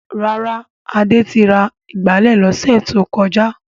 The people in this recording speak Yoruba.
Rárá, Adé ra ìgbálẹ̀ lọ́sẹ̀ tó kọjá.